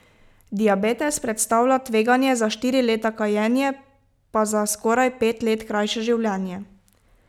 Diabetes predstavlja tveganje za štiri leta, kajenje pa za skoraj pet let krajše življenje.